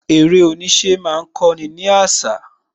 Eré oníṣẹ́ má ń kó ni àṣà